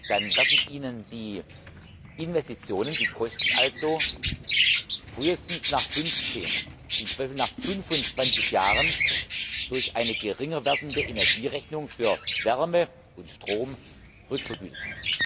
dann werden Ihnen die Investitionen, die Kosten also, frühestens nach 15, im Zweifel nach 25 Jahren durch eine geringer werdende Energierechnung für Wärme und Strom vergütet.